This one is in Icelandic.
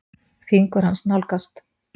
Fingur hans nálgast.